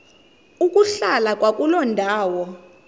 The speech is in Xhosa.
ukuhlala kwakuloo ndawo